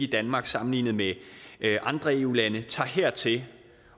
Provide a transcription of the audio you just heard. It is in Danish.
danmark sammenlignet med andre eu lande tager hertil